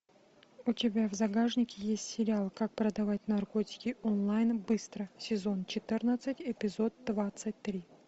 у тебя в загашнике есть сериал как продавать наркотики онлайн быстро сезон четырнадцать эпизод двадцать три